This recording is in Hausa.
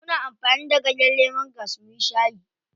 Muna amfani da ganyen lemongrass muyi shayi.